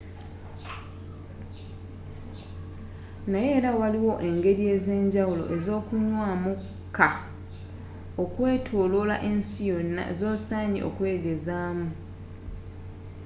naye era waliwo engeri ezenjawulo ezokunywamu kkaaa okwetoloola ensi yonna zosaanye okwegezaamu